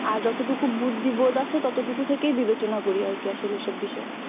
আর যতটুকু বুদ্ধি বোধ আছে ততটুকু থেকেই বিবেচনা করি আসলে এইসব বিষয়ে